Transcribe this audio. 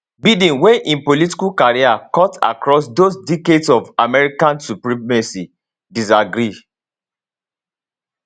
biden wey im political career cut across those decades of american supremacy disagree